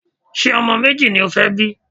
Ṣé ọmọ méjì ni o fẹ́ bí?